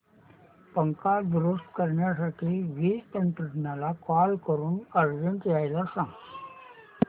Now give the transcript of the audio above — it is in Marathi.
पंखा दुरुस्त करण्यासाठी वीज तंत्रज्ञला कॉल करून अर्जंट यायला सांग